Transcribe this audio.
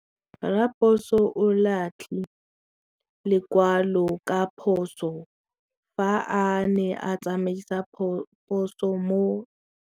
Raposo o latlhie lekwalô ka phosô fa a ne a tsamaisa poso mo motseng.